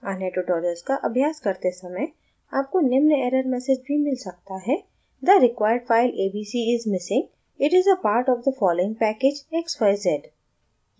अन्य tutorials का अभ्यास करते समय आपको निम्न error message भी मिल सकता है the required file abc is missing it is a part of the following package: xyz